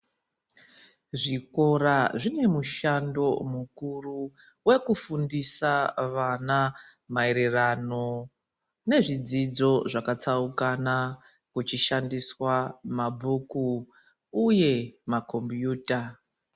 Zvikora zvine mushando mukuru wekufundisa vana maererano nezvidzidzo zvakatsaukana kuchishandiswa mabhuku uye macombiuta.